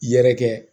Yɛrɛkɛ